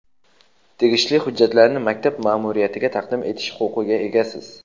tegishli hujjatlarni maktab maʼmuriyatiga taqdim etish huquqiga egasiz.